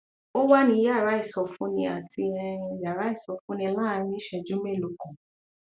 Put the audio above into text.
ó wà ní yàrá ìsọfúnni àti um yàrá ìsọfúnni láàárín ìṣẹjú mélòó kan